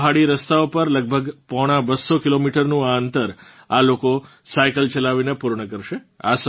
પહાડી રસ્તાઓ પર લગભગ પોણા બસ્સો કિલોમીટરનું આ અંતર આ લોકો સાયકલ ચલાવીને પૂર્ણ કરશે